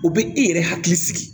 O bɛ e yɛrɛ hakili sigi